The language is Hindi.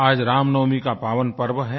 आज रामनवमी का पावन पर्व है